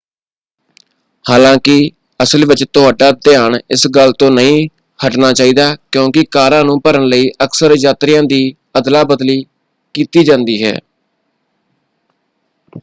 ਹਾਲਾਂਕਿ ਅਸਲ ਵਿੱਚ ਤੁਹਾਡਾ ਧਿਆਨ ਇਸ ਗੱਲ ਤੋਂ ਨਹੀਂ ਹਟਣਾ ਚਾਹੀਦਾ ਕਿਉਂਕਿ ਕਾਰਾਂ ਨੂੰ ਭਰਨ ਲਈ ਅਕਸਰ ਯਾਤਰੀਆਂ ਦੀ ਅਦਲਾ ਬਦਲੀ ਕੀਤੀ ਜਾਂਦੀ ਹੈ।